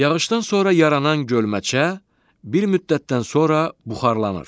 Yağışdan sonra yaranan gölməçə bir müddətdən sonra buxarlanır.